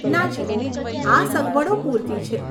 નાજી, આ સગવડો પૂરતી છે.